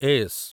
S